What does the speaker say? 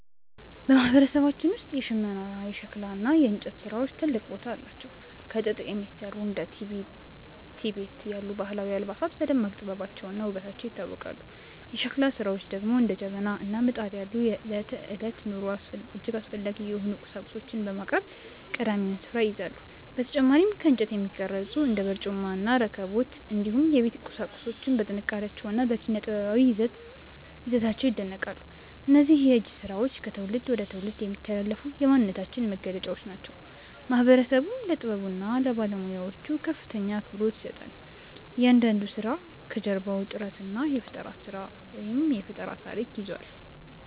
በማህበረሰባችን ውስጥ የሽመና፣ የሸክላ እና የእንጨት ስራዎች ትልቅ ቦታ አላቸው። ከጥጥ የሚሰሩ እንደ ቲቤት ያሉ ባህላዊ አልባሳት በደማቅ ጥበባቸውና ውበታቸው ይታወቃሉ። የሸክላ ስራዎች ደግሞ እንደ ጀበና እና ምጣድ ያሉ ለዕለት ተዕለት ኑሮ እጅግ አስፈላጊ የሆኑ ቁሳቁሶችን በማቅረብ ቀዳሚውን ስፍራ ይይዛሉ። በተጨማሪም ከእንጨት የሚቀረጹ እንደ በርጩማ፣ ረከቦት እና የቤት ቁሳቁሶች በጥንካሬያቸውና በኪነ-ጥበባዊ ይዘታቸው ይደነቃሉ። እነዚህ የእጅ ስራዎች ከትውልድ ወደ ትውልድ የሚተላለፉ የማንነታችን መገለጫዎች ሲሆኑ፣ ማህበረሰቡም ለጥበቡና ለባለሙያዎቹ ከፍተኛ አክብሮት ይሰጣል። እያንዳንዱ ስራ ከጀርባው የጥረትና የፈጠራ ታሪክ ይዟል።